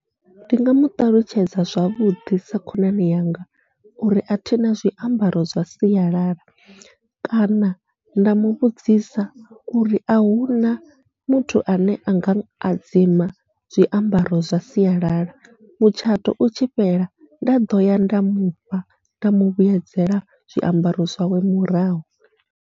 Ndi nga muṱalutshedza zwavhuḓi sa khonani yanga uri athina zwiambaro zwa sialala, kana nda muvhudzisa uri ahuna muthu ane anga a dzima zwiambaro zwa sialala mutshato utshi fhela nda ḓoya nda mufha nda muvhuyedzela zwiambaro zwawe murahu.